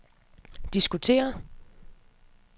diskutere